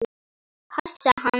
Passa hann?